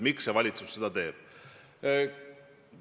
Miks valitsus seda teeb?